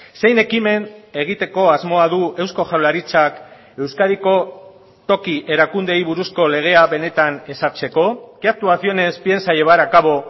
zein ekimen egiteko asmoa du eusko jaurlaritzak euskadiko toki erakundeei buruzko legea benetan ezartzeko qué actuaciones piensa llevar a cabo